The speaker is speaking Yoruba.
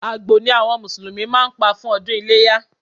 Àgbò ni àwọn Mùsùlùmí máa pa fún ọdún iléyá